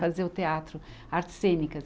Fazer o teatro, artes cênicas.